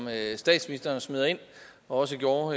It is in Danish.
statsministeren smider ind og også gjorde